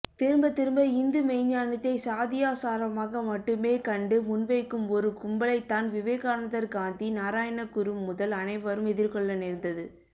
திரும்பத்திரும்ப இந்துமெய்ஞானத்தை சாதியாசாரமாக மட்டுமே கண்டு முன்வைக்கும் ஒரு கும்பலைத்தான் விவேகானந்தர் காந்தி நாராயணகுரு முதல் அனைவரும் எதிர்கொள்ளநேர்ந்தது